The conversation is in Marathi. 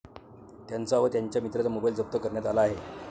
त्यांचा व त्यांच्या मित्राचा मोबाईल जप्त करण्यात आला आहे.